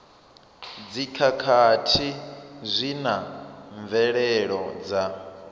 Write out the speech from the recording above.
dzikhakhathi zwi na mvelelo dza